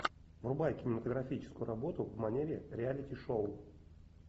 врубай кинематографическую работу в манере реалити шоу